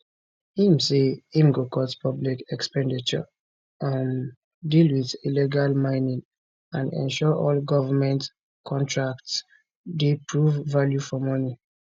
im say im go cut public expenditure um deal wit illegal mining and ensure all goment contracts dey provide value for money